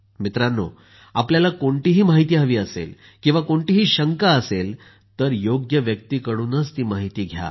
मित्रांनो आपल्याला कोणतीही माहिती हवी असेल किंवा कोणतीही शंका असेल तर ती योग्य व्यक्तिकडूनच ती माहिती घ्या